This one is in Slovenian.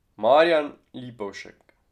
Marijan Lipovšek.